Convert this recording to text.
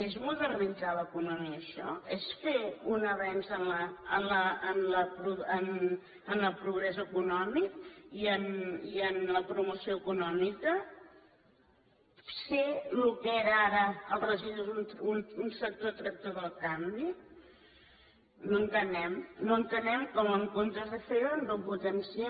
és modernitzar l’economia això és fer un avenç en el progrés econòmic i en la promoció econòmica ser el que eren ara els residus un sector tractor del canvi no ho entenem no entenem com en comptes de fer doncs que el potencien